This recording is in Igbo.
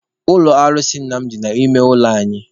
Ụlọ alụsị nna m dị n'ime ụlọ anyị.